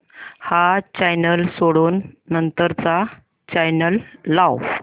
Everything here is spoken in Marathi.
हा चॅनल सोडून नंतर चा चॅनल लाव